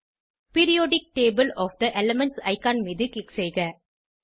periodic table of the elements icon மீது click செய்க